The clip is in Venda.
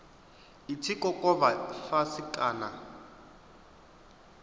i tshi kokovha fhasi kana